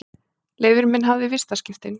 Leifur minn hafði vistaskiptin.